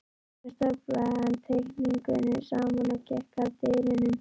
Svo staflaði hann teikningunum saman og gekk að dyrunum.